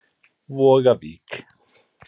Vogavík